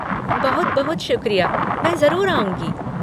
बहुत बहुत शुक्रिया, मैं जरुर आऊँगी।